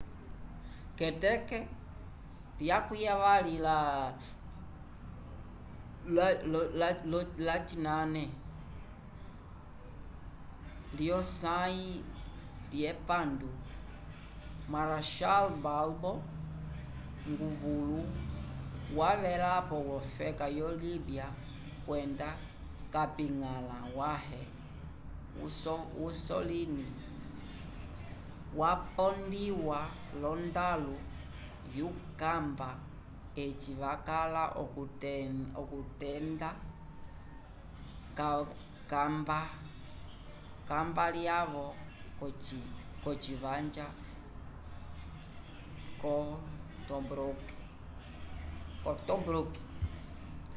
k'eteke 28 lyosãyi lyepandu marechal balbo nguvulu wavelapo wofeka yo libya kwenda kapiñgala wãhe mussolini wapondiwa l'ondalu yukamba eci vakala okukenda kambalyavo k'ocivanja co tobruk